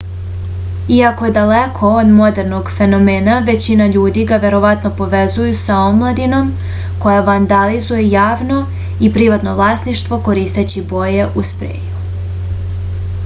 iako je daleko od modernog fenomena većina ljudi ga verovatno povezuje sa omladinom koja vandalizuje javno i privatno vlasništvo koristeći boje u spreju